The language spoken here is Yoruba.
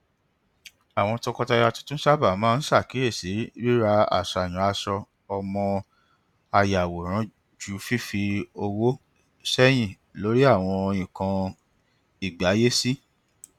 àwọn tọkọtaya tuntun sábà máa ń ṣàkíyèsí rírà àsàyàn aṣọ ọmọ àyàwòrán ju fífi owó sẹyìn lórí àwọn nnkan ìgbáyésí